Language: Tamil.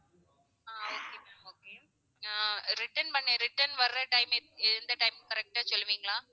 ஆஹ் okay ma'am okay ah return பண்ண return வர்ற time எந்~ எந்த time correct ஆ சொல்லுவீங்களா?